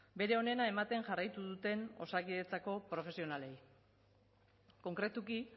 bere onena ematen jarraitu duten osakidetzako profesionalei konkretuki